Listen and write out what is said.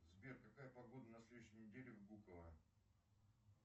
сбер какая погода на следующей неделе в буково